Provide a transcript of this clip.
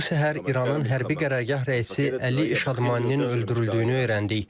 Bu səhər İranın hərbi qərargah rəisi Əli Şadmaninin öldürüldüyünü öyrəndik.